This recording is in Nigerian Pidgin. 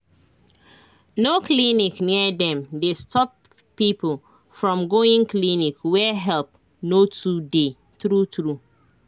birth control wey cost pass power dey block people freedom for where help no too dey